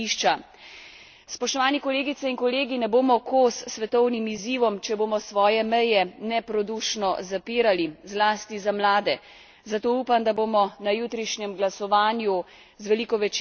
Spoštovane kolegice in kolegi, ne bomo kos svetovnim izzivom, če bomo svoje meje neprodušno zapirali, zlasti za mlade, zato upam, da bomo na jutrišnjem glasovanju z veliko večino podprli predlog odbora LIBE.